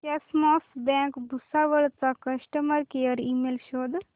cosmos bank Bhusawal चा customer care email शोध